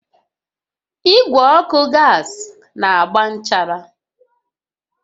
Igwe ọkụ gas na-agba nchara